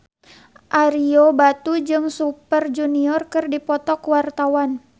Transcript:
Ario Batu jeung Super Junior keur dipoto ku wartawan